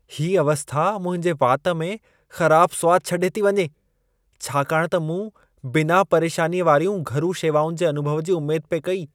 ही अवस्था मुंहिंजे वाति में ख़राबु सवादु छॾे थी वञे छाकाणि त मूं बिना-परेशानीअ वारियूं घरू शेवाउनि जे अनुभव जी उमेद पे कई।